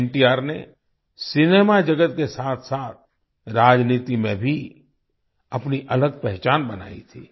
एनटीआर ने सिनेमा जगत के साथसाथ राजनीति में भी अपनी अलग पहचान बनाई थी